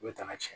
I bɛ taa n'a ye